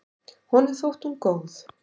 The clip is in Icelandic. Honum þótti hún góð.